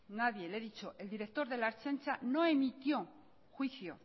nadie e he dicho el director de la ertzaintza no emitió juicio